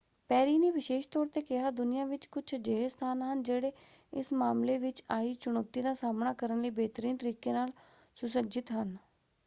ਪੈਰੀ ਨੇ ਵਿਸ਼ੇਸ਼ ਤੌਰ 'ਤੇ ਕਿਹਾ ਦੁਨੀਆ ਵਿੱਚ ਕੁਝ ਅਜਿਹੇ ਸਥਾਨ ਹਨ ਜਿਹੜੇ ਇਸ ਮਾਮਲੇ ਵਿੱਚ ਆਈ ਚੁਣੌਤੀ ਦਾ ਸਾਹਮਣਾ ਕਰਨ ਲਈ ਬੇਹਤਰੀਨ ਤਰੀਕੇ ਨਾਲ ਸੁਸੱਜਤ ਹਨ।